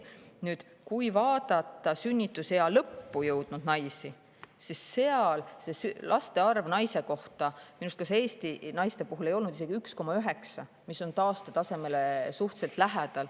Nüüd, sünnitusea lõppu jõudnud naistel laste arv naise kohta minu arust Eesti naiste puhul on isegi 1,9 – see on taastetasemele suhteliselt lähedal.